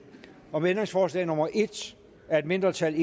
om ændringsforslag nummer en af et mindretal